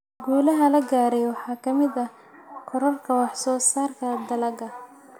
Guulaha la gaaray waxaa ka mid ah kororka wax soo saarka dalagga.